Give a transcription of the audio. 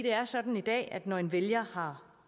er sådan i dag at når en vælger har